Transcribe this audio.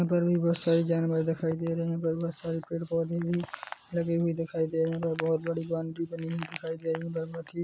यहाँ पर भी बहोत सारे जानवर दिखाई दे रहे हैं और बहोत सारे पेड़ पौधे भी लगे दिखाई दे रहे हैं और बहुत बड़ी बाउन्ड्री दिखाई दे रही है बाउन्ड्री की --